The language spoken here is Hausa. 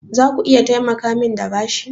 Zaku iya taimakamin da bashi?